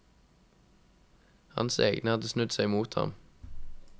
Hans egne hadde snudd seg mot ham.